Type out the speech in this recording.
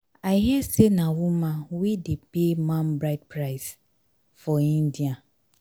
i hear say na woman wey dey pay man bride price for india